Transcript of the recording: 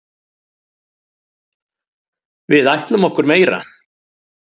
Við ætlum okkur meira.